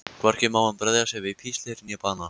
Hvorki má hann bregða sér við píslir né bana.